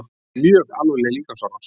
Mjög alvarleg líkamsárás